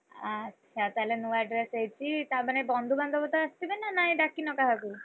ଆଚ୍ଛା! ତାହେଲେ ନୂଆ dress ହେଇଛି, ତା ମାନେ ବନ୍ଧୁ ବାନ୍ଧବ ତ ଆସିଥିବେ ନା ନାହିଁ, ଡାକିନ କାହାକୁ?